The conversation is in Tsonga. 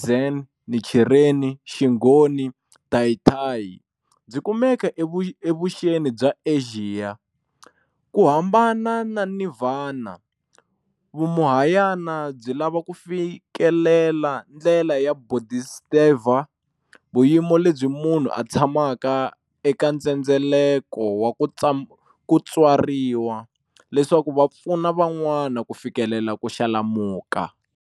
Zen, Nichireni, Xinghoni na Tayitayi, byi kumeka e vuxeni bya Axiya. kuhambana na Nivhana, vuMahayana byi lava ku fikelela ndlela ya bodhisattva, vuyimo lebyi munhu a tsamaka eka ndzendzeleko wa kutswariwa leswaku vapfuna van'wana ku fikelela kuxalamuka.